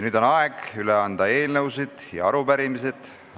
Nüüd on aeg anda üle eelnõusid ja arupärimisi.